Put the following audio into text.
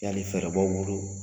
Yali fɛɛrɛ b'aw bolo